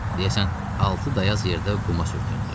deyəsən altı dayaz yerdə quma sürtündü.